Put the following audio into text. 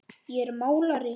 Ég er málari.